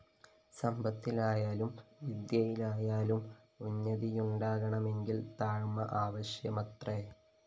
സമ്പത്തിലായാലും വിദ്യയിലായാലും ഉന്നതിയുണ്ടാകണമെങ്കില്‍ താഴ്മ ആവശ്യമത്രേ